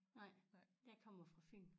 Nej jeg kommer fra Fyn